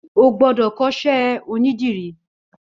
Ó gbọdọ kọṣẹ ónìdìrí